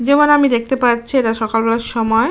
যেমন আমি দেখতে পাচ্ছি এটা সকালবেলার সময়।